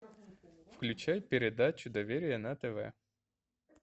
включай передачу доверие на тв